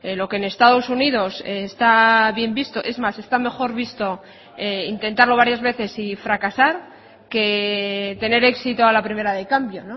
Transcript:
lo que en estados unidos está bien visto es más está mejor visto intentarlo varias veces y fracasar que tener éxito a la primera de cambio